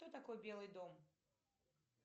кто такой белый дом